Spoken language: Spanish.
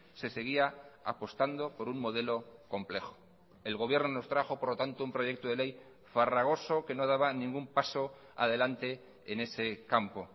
se seguía apostando por un modelo complejo el gobierno nos trajo por lo tanto un proyecto de ley farragoso que no daba ningún paso adelante en ese campo